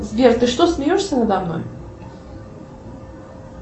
сбер ты что смеешься надо мной